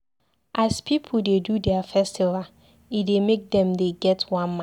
As pipu dey do their festival, e dey make dem dey get one mind